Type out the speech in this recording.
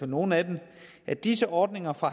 nogle af dem at disse ordninger fra